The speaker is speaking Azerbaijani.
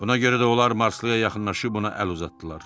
Buna görə də onlar Marslıya yaxınlaşıb ona əl uzatdılar.